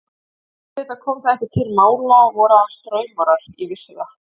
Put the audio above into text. En auðvitað kom það ekki til mála, voru aðeins draumórar, ég vissi það.